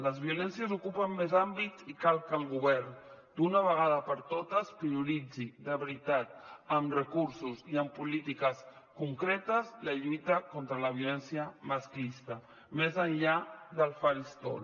les violències ocupen més àmbits i cal que el govern d’una vegada per totes prioritzi de veritat amb recursos i amb polítiques concretes la lluita contra la violència masclista més enllà del faristol